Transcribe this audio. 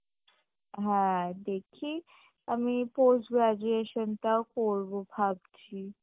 হ্যাঁ দেখি, আমি post graduation টাও করবো ভাবছি